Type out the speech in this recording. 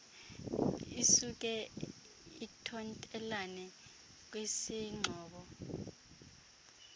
isuke ithontelane kwisingxobo